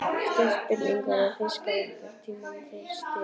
Stutt spurning, verða fiskar einhverntímann þyrstir!??